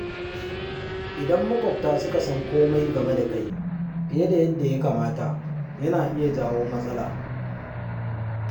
Idan maƙwabta suka san komai game da kai fiye da yadda ya kamata, yana iya jawo matsala.